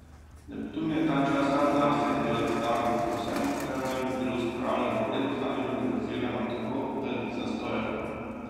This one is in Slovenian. Neptun je ta čas sam zase in dela zgago pri vsem, kar naj bi bilo spravljeno v red ali organizirano tako, da ni zastojev.